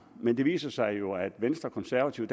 men det viste sig jo at venstre konservative